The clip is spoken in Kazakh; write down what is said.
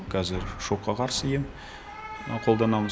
кәзір шокқа қарсы ем қолданамыз